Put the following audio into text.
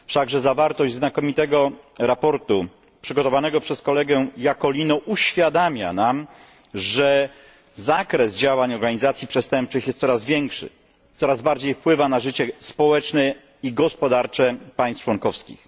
Wszakże zawartość znakomitego sprawozdania przygotowanego przez kolegę Iacolino uświadamia nam, że zakres działań organizacji przestępczych jest coraz większy, coraz bardziej wpływa na życie społeczne i gospodarcze państw członkowskich.